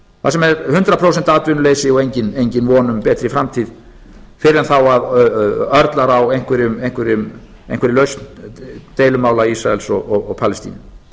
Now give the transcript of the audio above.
þar sem er hundrað prósent atvinnuleysi og engin von um betri framtíð fyrr en þá að örlar á einhverri lausn deilumála ísraels og palestínu